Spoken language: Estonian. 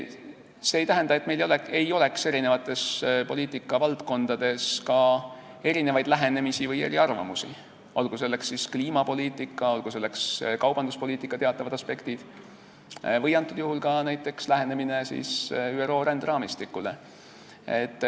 See ei tähenda, et meil ei oleks eri poliitikavaldkondades erinevaid lähenemisi või eriarvamusi, olgu selleks kliimapoliitika, kaubanduspoliitika teatavad aspektid või antud juhul näiteks lähenemine ÜRO ränderaamistikule.